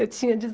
Eu tinha